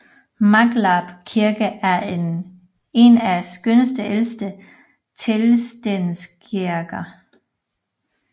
Maglarp Kirke er én af Skånes ældste teglstenskirker